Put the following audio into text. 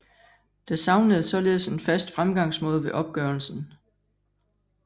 Der savnedes således en fast fremgangsmåde ved opgørelsen